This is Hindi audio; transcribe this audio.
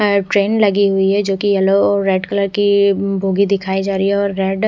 ट्रेन लगी हुई है जोकी येलो रेड कलर की बोगी दिखाई जा रही है और रेड --